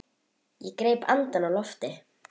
Ég greip andann á lofti.